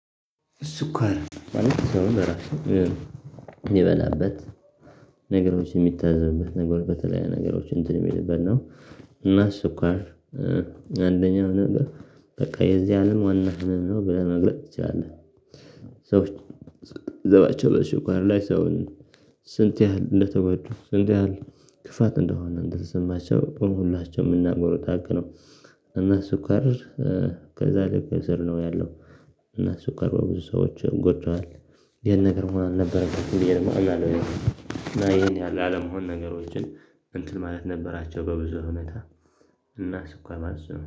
ስኳር የበላበት ነገሮች የሚታዘብበት ነገር በተለይ ነገሮች እንትን የሚልበት ነው። እና ስኳር አንደኛው ነገር በቃ የዚህ አለም ዋና ህመም ነው ብለህ መግለጥ ትችላለህ። ሰዎች መዘባቸው በስኳር ላይ ሰውን። ስንት ያህል እንደተጎዱ ስንት ያህል ክፋት እንደሆነ እንደተሰማቸው ሁላቸው የምናውቀው ሃቅ ነው። እና ሱካር ከዛ ለተከሰር ነው ያለው። እና ሱካር በብዙ ሰዎች ጎድቷል። ይሄን ነገር መሆን አልነበረም እና ይሄን ያህል አለመሆን ነገሮችን እንትን ማለት ነበራቸው በብዙ ሁኔታ። እና ስኳር ማለት እሱ ነው